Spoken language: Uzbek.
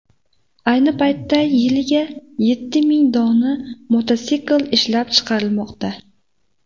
Ayni paytda yiliga yetti ming dona mototsikl ishlab chiqarilmoqda.